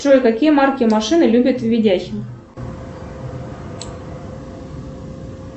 джой какие марки машин любит видяхин